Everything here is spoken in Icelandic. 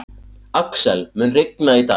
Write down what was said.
Axel, mun rigna í dag?